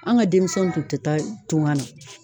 An ka denmisɛnw tun te taa tunga na.